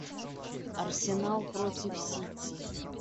арсенал против сити